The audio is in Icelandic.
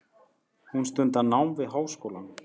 Hún stundar nám við háskólann.